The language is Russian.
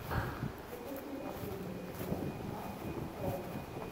запусти последний эпизод максус про